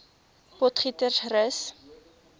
potgietersrus